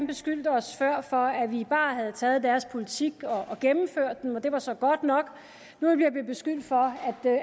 beskyldte os før for at vi bare havde taget deres politik og gennemført den og det var så godt nok nu bliver vi beskyldt for